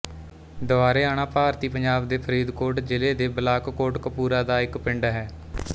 ਦਵਾਰੇਆਣਾ ਭਾਰਤੀ ਪੰਜਾਬ ਦੇ ਫ਼ਰੀਦਕੋਟ ਜ਼ਿਲ੍ਹੇ ਦੇ ਬਲਾਕ ਕੋਟਕਪੂਰਾ ਦਾ ਇੱਕ ਪਿੰਡ ਹੈ